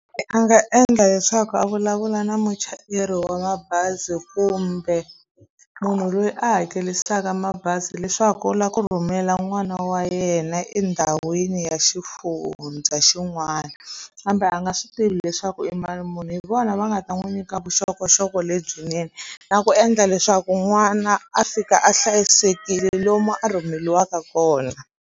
A nga endla leswaku a vulavula na muchayeri wa mabazi kumbe munhu loyi a hakerisaka mabazi leswaku u lava ku rhumela n'wana wa yena endhawini ya xifundza xin'wana kambe a nga swi tivi leswaku i mali muni hi vona va nga ta n'wi nyika vuxokoxoko lebyinene na ku endla leswaku n'wana a fika a hlayisekile lomu a rhumeriwaka kona.